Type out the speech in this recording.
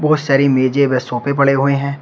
और सारी मेजे व सोफे पड़े हुए हैं।